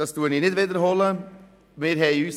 das wiederhole ich nicht.